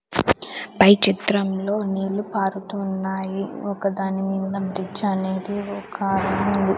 పై చిత్రంలో నీళ్లు పారుతూ ఉన్నాయి ఒక దాని మీద బ్రిడ్జ్ అనేది ఒక కార్ ఉంది.